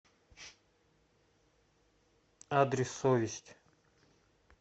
адрес совесть